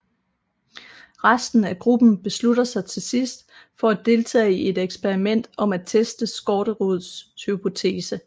Resten af gruppen beslutter sig til sidst for at deltage i et eksperiment om at teste Skårderuds hypotese